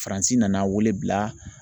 Faransi nana wele bila